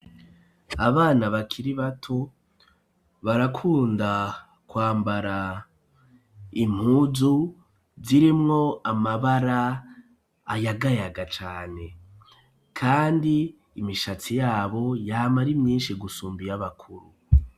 Abana bakiri bato barakunda kwambara impuju zirimwo amabara ayagayaga cane kandi imishatsi yabo yama ari myinshi gusumba iy'abakuru.